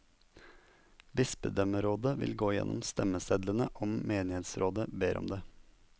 Bispedømmerådet vil gå gjennom stemmesedlene om menighetsrådet ber om det.